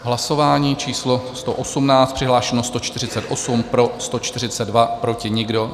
Hlasování číslo 118, přihlášeno 148, pro 142, proti nikdo.